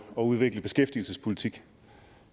udvikle beskæftigelsespolitik